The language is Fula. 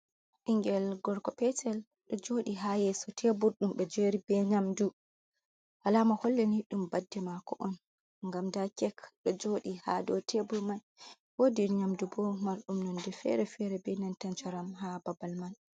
Ɓingel gorgo petel ɗo joɗi ha yeso tebur ɗum ɓe jeri be nyamdu, alama hollini ɗum badde mako on ngam nda kek ɗo joɗi ha dow tebur mai, wodi nyamdu bo marɗum nonde fere fere be nanta njaram ha babal man.